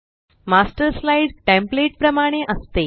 master slide template प्रमाणे असते